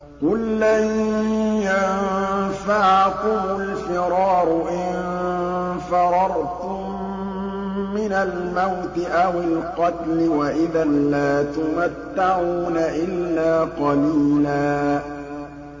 قُل لَّن يَنفَعَكُمُ الْفِرَارُ إِن فَرَرْتُم مِّنَ الْمَوْتِ أَوِ الْقَتْلِ وَإِذًا لَّا تُمَتَّعُونَ إِلَّا قَلِيلًا